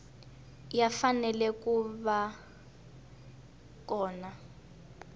ya fanele ku va kona